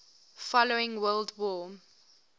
following world war